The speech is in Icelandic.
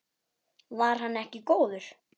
Var hann ekki góður?